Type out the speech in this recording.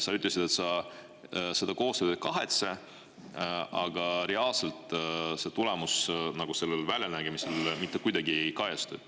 Sa ütlesid, et sa seda koostööd ei kahetse, aga reaalselt see tulemus väljanägemises mitte kuidagi ei kajastu.